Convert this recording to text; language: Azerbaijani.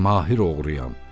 Mən mahir oğruyam.